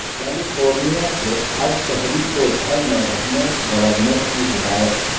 California کے ہر شہری کو گھر میں رہنے گورنر کی ہدایت